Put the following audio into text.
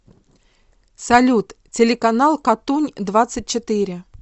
салют телеканал катунь двадцать четыре